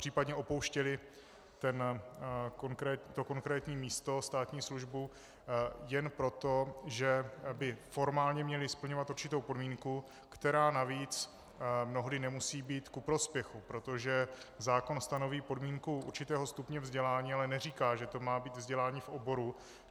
Případně opouštěli to konkrétní místo, státní službu jen proto, že by formálně měli splňovat určitou podmínku, která navíc mnohdy nemusí být ku prospěchu, protože zákon stanoví podmínku určitého stupně vzdělání, ale neříká, že to má být vzdělání v oboru.